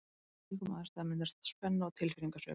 Í slíkum aðstæðum myndast oft spenna og tilfinningasveiflur.